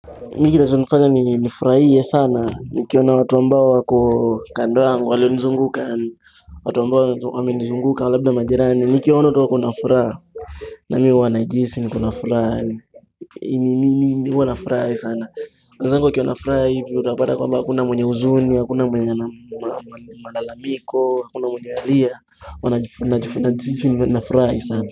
Mimi kinacho nifanya nifurahie sana, nikiona watu ambao kwa kando yangu walionizunguka watu ambao wamenizunguka labda majirani, nikiona tu wako na furaha mimi huwa najihisi nikona furaha nini nini huwanafurahi sana wenzangu wakiwa na furaha hivyo utapata kwamba hakuna mwenye huzuni, hakuna mwenye malalamiko, hakuna mwenye analia huwa najihisi ni nafurahi sana.